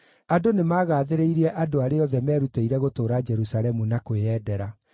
Andũ nĩmagathĩrĩirie andũ arĩa othe meerutĩire gũtũũra Jerusalemu na kwĩyendera.